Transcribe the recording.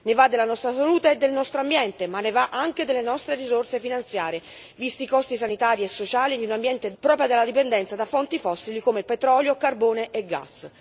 Ne va della nostra salute e del nostro ambiente, ma ne va anche delle nostre risorse finanziarie, visti i costi sanitari e sociali di un ambiente devastato proprio dalla dipendenza da fonti fossili come petrolio, carbone e gas.